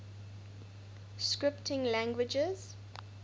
scripting languages